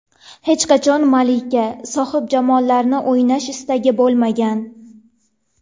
Hech qachon malika, sohibjamollarni o‘ynash istagi bo‘lmagan.